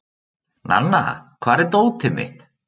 Nanna, hvar er dótið mitt?